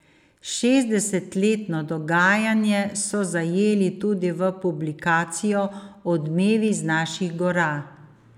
Šestdesetletno dogajanje so zajeli tudi v publikacijo Odmevi z naših gora.